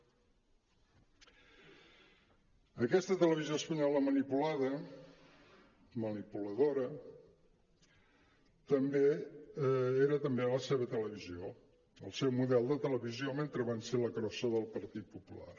aquesta televisió espanyola manipulada manipuladora era també la seva tele·visió el seu model de televisió mentre van ser la crossa del partit popular